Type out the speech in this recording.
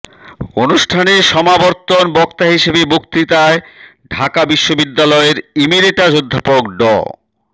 অনুষ্ঠানে সমাবর্তন বক্তা হিসেবে বক্তৃতায় ঢাকা বিশ্ববিদ্যালয়ের ইমিরেটাস অধ্যাপক ড